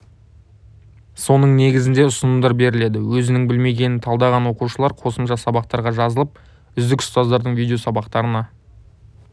соның негізінде ұсынымдар беріледі өзінің білмегенін талдаған оқушылар қосымша сабақтарға жазылып үздік ұстаздардың видео сабақтарына